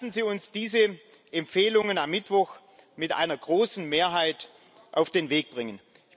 Lassen Sie uns diese Empfehlungen am Mittwoch mit einer großen Mehrheit auf den Weg bringen.